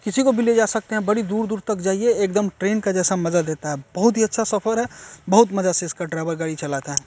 किसी को भी ले जा सकते हैं बड़ी दूर-दूर तक जाइए एकदम ट्रैन के जैसा मज़ा देता है बहुत ही अच्छा सफर है बहुत मज़ा से इसका ड्राइवर गाड़ी चलाता है।